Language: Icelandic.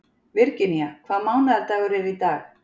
Virginía, hvaða mánaðardagur er í dag?